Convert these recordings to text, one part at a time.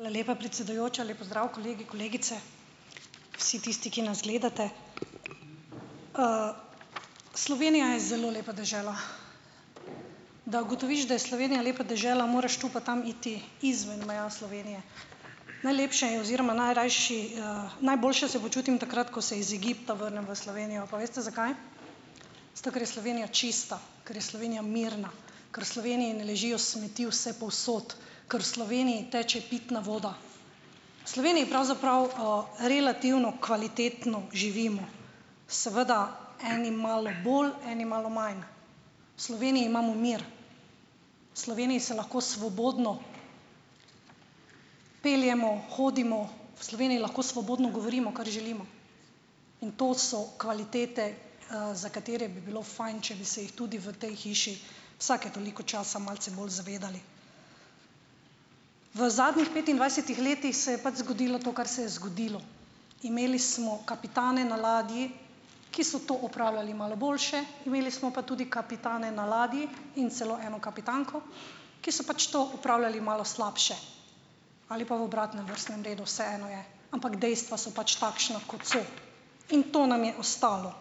ala lepa, predsedujoča, lep pozdrav, kolegi, kolegice, vsi tisti, ki nas gledate, Slovenija je zelo lepa dežela, da ugotoviš, da je Slovenija lepa dežela, moraš tu pa tam iti izven meja Slovenije, najlepše je oziroma najrajši, najboljše se počutim takrat, ko se iz Egipta vrnem v Slovenijo, pa veste zakaj, zato ker je Slovenija čista, ker je Slovenija mirna, ker v Sloveniji ne ležijo smeti vsepovsod, ker Sloveniji teče pitna voda, Sloveniji pravzaprav, relativno kvalitetno živimo, seveda eni malo bolj eni malo manj, v Sloveniji imamo mir, Sloveniji se lahko svobodno peljemo, hodimo, v Sloveniji lahko svobodno govorimo, kar želimo, in to so kvalitete, za katere bi bilo fajn, če bi se jih tudi v tej hiši vsake toliko časa malce bolj zavedali, v zadnjih petindvajsetih letih se je pač zgodilo to, kar se je zgodilo, imeli smo kapitane na ladji, ki so to opravljali malo boljše, imeli smo pa tudi kapitane na ladji, in celo eno kapitanko, ki so pač to opravljali malo slabše, ali pa v obratnem vrstnem redu, vseeno je, ampak dejstva so pač takšna, kot so, in to nam je ostalo,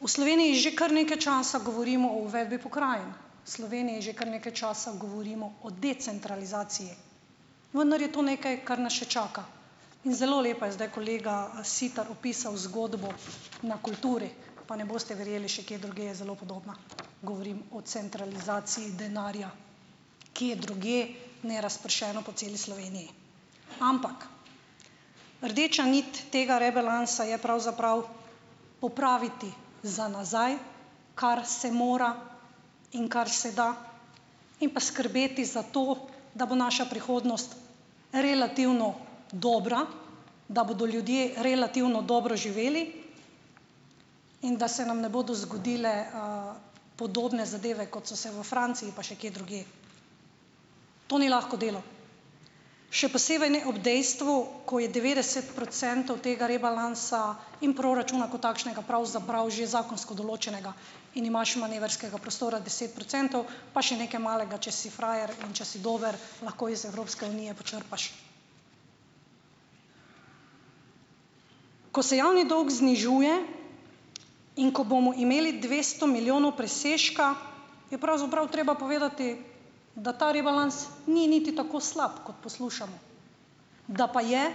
v Sloveniji že kar nekaj časa govorimo o uvedbi pokrajin, Sloveniji že kar nekaj časa govorimo o decentralizaciji, vendar je to nekaj, kar nas še čaka, in zelo lepo je zdaj kolega Siter opisal zgodbo na kulturi, pa ne boste verjeli, še kje drugje je zelo podobna, govorim o centralizaciji denarja, kje drugje nerazpršeno po celi Sloveniji, ampak rdeča nit tega rebalansa je pravzaprav popraviti za nazaj, kar se mora in kar se da, in pa skrbeti za to, da bo naša prihodnost relativno dobra, da bodo ljudje relativno dobro živeli in da se nam ne bodo zgodile, podobne zadeve, kot so se v Franciji pa še kje drugje, to ni lahko delo, še posebej ne ob dejstvu, ko je devetdeset procentov tega rebalansa in proračuna kot takšnega pravzaprav že zakonsko določenega in imaš manevrskega prostora deset procentov pa še nekaj malega, če si frajer in če si dober lahko iz Evropske unije počrpaš, ko se javni dolg znižuje in ko bomo imeli dvesto milijonov presežka, je pravzaprav treba povedati, da ta rebalans ni niti tako slab, kot poslušamo, da pa je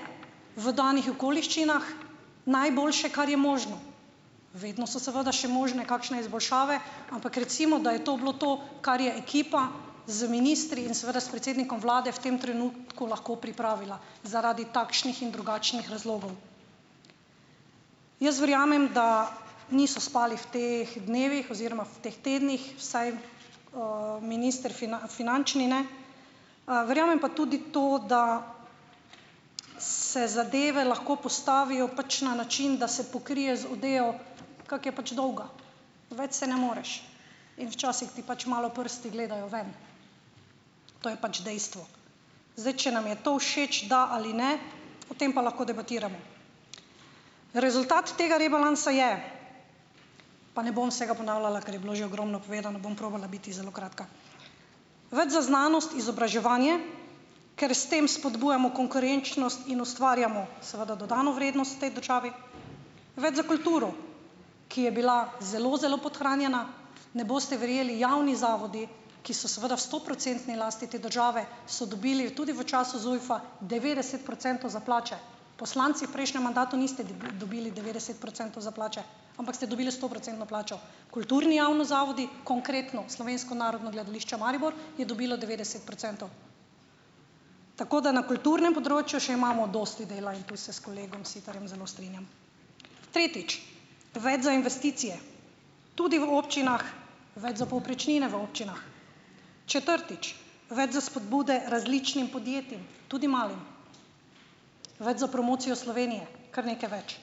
v danih okoliščinah najboljše, kar je možno, vedno so seveda še možne kakšne izboljšave, ampak recimo da je to bilo to, kar je ekipa z ministri in seveda s predsednikom vlade v tem trenutku lahko pripravila zaradi takšnih in drugačnih razlogov. Jaz verjamem, da niso spali v teh dnevih oziroma v teh tednih vsaj, minister finančni ne, verjamem pa tudi to, da se zadeve lahko postavijo pač na način, da se pokrije z odejo, kako je pač dolga, več se ne moreš, in včasih ti pač malo prsti gledajo ven, to je pač dejstvo, zdaj če nam je to všeč, da ali ne, o tem pa lahko debatiramo, rezultat tega rebalansa je, pa ne bom vsega ponavljala, ker je bilo že ogromno povedano, bom probala biti zelo kratka, več za znanost in izobraževanje ker s tem spodbujamo konkurenčnost in ustvarjamo seveda dodano vrednost tej državi, več za kulturo, ki je bila zelo, zelo podhranjena, ne boste verjeli, javni zavodi, ki so seveda v stoprocentni lasti te države so dobili tudi v času ZUJF-a devetdeset procentov za plače, poslanci prejšnjem mandatu niste dobili devetdeset procentov za plače, ampak ste dobili stoprocentno plačo, kulturni javni zavodi, konkretno Slovensko narodno gledališče Maribor je dobilo devetdeset procentov, tako da na kulturnem področju še imamo dosti dela in tu se s kolegom Sitarjem zelo strinjam, tretjič, več za investicije tudi v občinah, več za povprečnine v občinah, četrtič, več za spodbude različnim podjetjem, tudi malim, več za promocijo Slovenije, kar nekaj več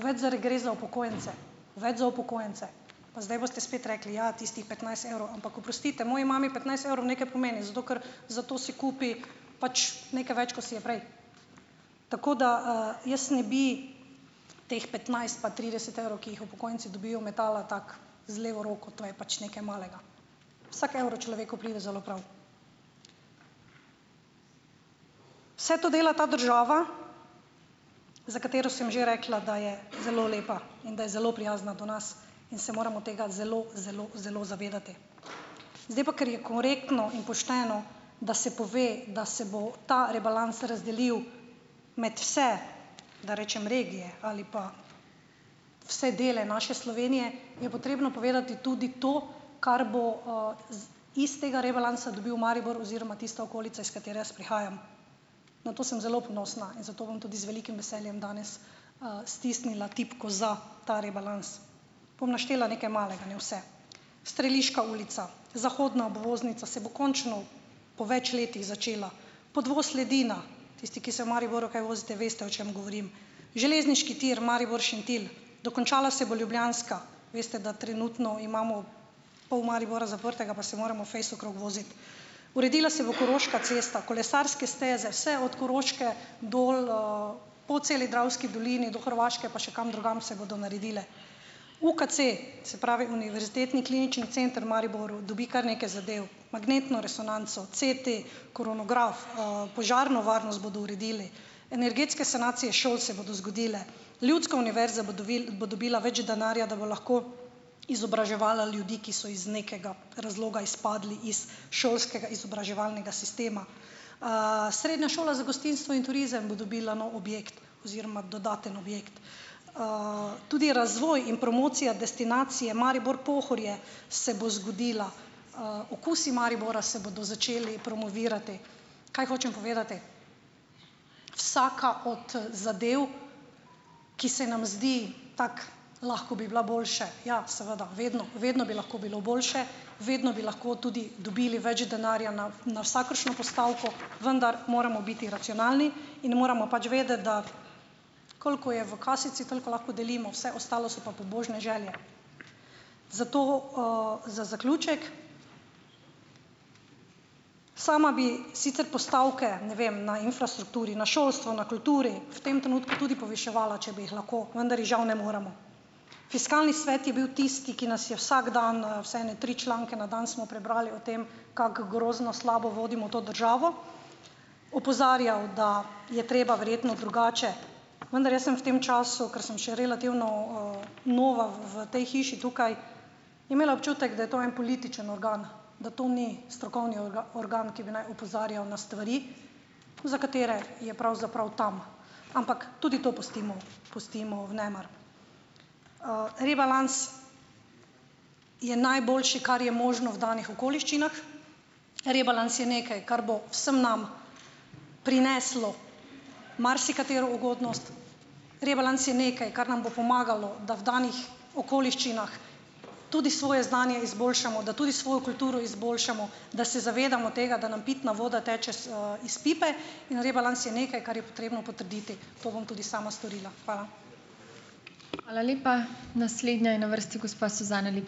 več za regres za upokojence, več za upokojence, pa zdaj boste spet rekli: "Ja, tistih petnajst evrov." Ampak, oprostite, moji mami petnajst evrov nekaj pomeni zato, ker za to si kupi pač nekaj več, ko si je prej, tako da, jaz ne bi teh petnajst pa trideset evrov, ki jih upokojenci dobijo, metala tako z levo roko, to je pač nekaj malega, vsak evro človeku pride zelo prav, vse to dela ta država, za katero sem že rekla, da je zelo lepa in da je zelo prijazna do nas, in se moramo tega zelo, zelo, zelo zavedati, zdaj pa, ker je korektno in pošteno, da se pove, da se bo ta rebalans razdelil med vse, da rečem regije ali pa vse dele naše Slovenije, je potrebno povedati tudi to, kar bo, z istega rebalansa dobil Maribor oziroma tista okolica, iz katere jaz prihajam, na to sem zelo ponosna in zato bom tudi z velikim veseljem danes, stisnila tipko za ta rebalans, bom naštela nekaj malega, ne vse, Streliška ulica, zahodna obvoznica se bo končno po več letih začela, podvoz Ledina, tisti, ki se v Mariboru kaj vozite veste, o čem govorim, železniški tir Maribor-Šentilj dokončala se bo Ljubljanska, veste, da trenutno imamo pol Maribora zaprtega pa se moramo fejst okrog voziti, uredila se bo Koroška cesta, kolesarske steze vse od Koroške dol, po celi Dravski dolini do Hrvaške pa še kam drugam se bodo naredile, UKC, se pravi Univerzitetni klinični center v Mariboru dobi kar nekaj zadev, magnetno resonanco, CT, kronograf, požarno varnost bodo uredili, energetske sanacije šol se bodo zgodile, ljudska univerza bo bo dobila več denarja, da bo lahko izobraževala ljudi, ki so iz nekega razloga izpadli iz šolskega izobraževalnega sistema, srednja šola za gostinstvo in turizem bo dobila nov objekt oziroma dodaten objekt, tudi razvoj in promocija destinacije Maribor-Pohorje se bo zgodila, okusi Maribora se bodo začeli promovirati, kaj hočem povedati, vsaka od, zadev, ki se nam zdi tako, lahko bi bila boljše, ja, seveda vedno, vedno bi lahko bilo boljše, vedno bi lahko tudi dobili več denarja na, na vsakršno postavko, vendar moramo biti racionalni in moramo pač vedeti, da koliko je v kaseljcu, toliko lahko delimo, vse ostalo so pa pobožne želje, zato, za zaključek. Sama bi sicer postavke, ne vem, na infrastrukturi, na šolstvu, na kulturi v tem trenutku tudi poviševala, če bi jih lahko, vendar jih žal ne moremo, fiskalni svet je bil tisti, ki nas je vsak dan, vsaj ene tri članke na dan smo prebrali o tem, kako grozno slabo vodimo to državo, opozarjal, da je treba verjetno drugače, vendar jaz sem v tem času, ker sem še relativno, nova v, v tej hiši tukaj, imela občutek, da je to en politični organ, da to ni strokovni organ, ki bi naj opozarjal na stvari, za katere je pravzaprav tam, ampak tudi to pustimo, pustimo v nemar, rebalans je najboljši, kar je možno v danih okoliščinah, rebalans je nekaj, kar bo vsem nam prineslo marsikatero ugodnost, rebalans je neka, kar nam bo pomagalo, da v danih okoliščinah tudi svoje znanje izboljšamo, da tudi svojo kulturo izboljšamo, da se zavedamo tega, da nam pitna voda teče, iz pipe in rebalans je nekaj, kar je potrebno potrditi, to bom tudi sama storila. Hvala.